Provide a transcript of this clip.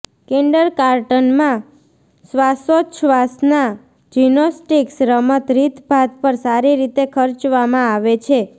kindergarten માં શ્વાસોચ્છવાસનાં gymnastics રમત રીતભાત પર સારી રીતે ખર્ચવામાં આવે છે